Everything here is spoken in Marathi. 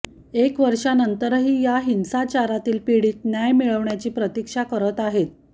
एक वर्षानंतरही या हिंसाचारातील पीडित न्याय मिळण्याची प्रतीक्षा करत आहेत